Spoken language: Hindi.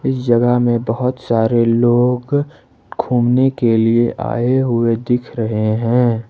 इस जगह में बहोत सारे लोग घूमने के लिए आए हुए दिख रहे हैं।